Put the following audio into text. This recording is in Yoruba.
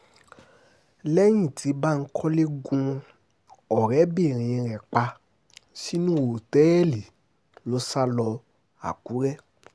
lẹ́yìn tí bankole gun ọ̀rẹ́bìnrin rẹ̀ pa sínú òtẹ́ẹ̀lì ló sá lọ làkúrè